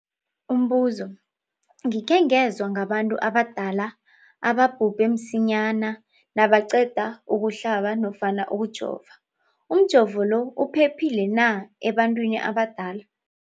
Umbuzo, gikhe ngezwa ngabantu abadala ababhubhe msinyana nabaqeda ukuhlaba nofana ukujova. Umjovo lo uphephile na ebantwini abadala?